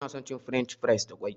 Ina son cin french fries da ƙwai.